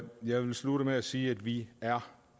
jeg vil slutte med at sige at vi er